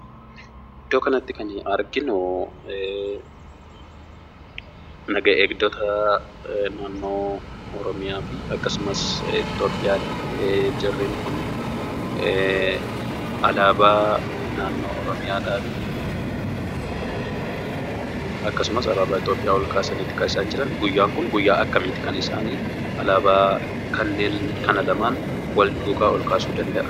Iddoo kanatti kan arginu naga eegdota naannoo Oromiyaafi akkasumas Itoophiyaati. Jarreen kun alaabaa naannoo Oromiyaafi akkasumas alaabaa Itoophiyaa olkaasaniiti kan jirani. Guyyaan kun guyyaa akkamiiti kan isaan alaabaa kanneen kana lamaan walduukaa olkaasuu danda'an?